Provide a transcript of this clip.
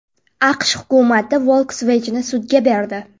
AQSh hukumati Volkswagen’ni sudga berdi.